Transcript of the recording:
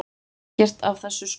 Ekkert af þessu skorti.